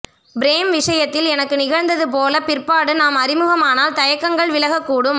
frame விஷயத்தில் எனக்கு நிகழ்ந்தது போல பிற்பாடு நாம் அறிமுகமானால் தயக்கங்கள் விலகக் கூடும்